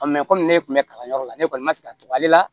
komi ne tun bɛ kalanyɔrɔ la ne kɔni ma se ka to ale la